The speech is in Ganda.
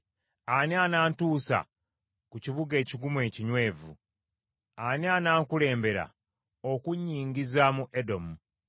Ani anantuusa ku kibuga ekigumu ekinywevu? Ani anankulembera okunnyingiza mu Edomu?